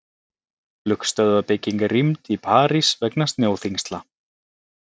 Flugstöðvarbygging rýmd í París vegna snjóþyngsla